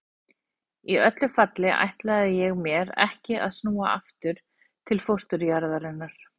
enn er þó algengt að almenningur kalli hreysiköttinn víslu